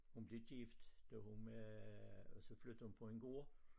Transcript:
Hun blev gift da hun var og så flyttede hun på en gård